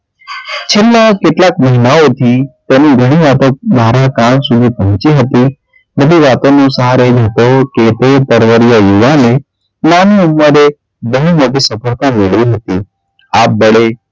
છેલ્લાં કેટલાંક મહિનાઓથી તેમની પહોચી હતી તે તરવરીય યુવાને નાની ઉમરે બહુ મોટી સફળતાં મેળવી લીધી આપબળે,